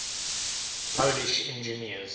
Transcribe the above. polish engineers